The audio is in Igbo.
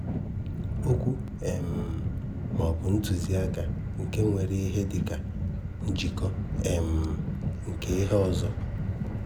Okwu um maọbụ ntụziaka nke nwere ihe dịka njikọ um nke ihe ọzọ.